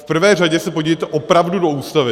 V prvé řadě se podívejte opravdu do Ústavy.